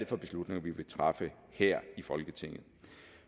for beslutninger vi vil træffe her i folketinget